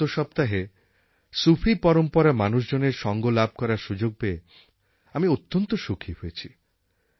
গত সপ্তাহে সুফি পরম্পরার মানুষজনের সঙ্গ লাভ করার সুযোগ পেয়ে আমি অত্যন্ত সুখী হয়েছি